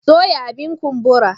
Soya abin kumbura.